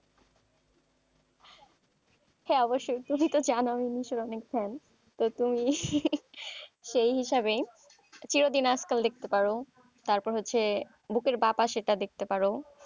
হ্যাঁ অবশই তুমি তো জানো তো তুমি সেই হিসাবে চিরদিন আজকাল দেখতে পারো তারপর হচ্ছে বুকের সেটা দেখতে পারো,